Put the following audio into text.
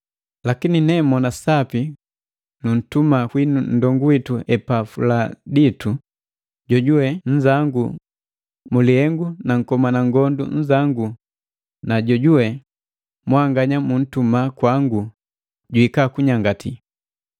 Lakini nemona sapi nuntuma kwinu nndongu witu Epafuladitu, jojuwe nnzangu mu lihengu na nkomana ngondu nnzangu na jojuwe mwanganya muntuma kwangu juhika kunyangati.